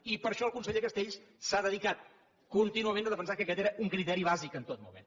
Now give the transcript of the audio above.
i per això el conseller castells s’ha dedicat contínuament a defensar que aquest era un criteri bàsic en tot moment